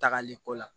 Tagali ko la